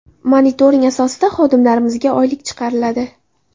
Monitoring asosida xodimlarimizga oylik chiqiriladi.